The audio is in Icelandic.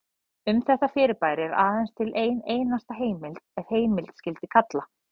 Um þetta fyrirbæri er aðeins til ein einasta heimild ef heimild skyldi kalla.